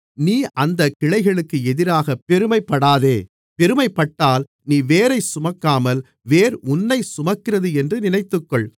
நீ அந்தக் கிளைகளுக்கு எதிராகப் பெருமைப்படாதே பெருமைப்பட்டால் நீ வேரைச் சுமக்காமல் வேர் உன்னைச் சுமக்கிறது என்று நினைத்துக்கொள்